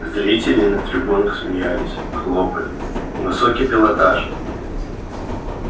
зрители на трибунах смеялись хлопали высокий пилотаж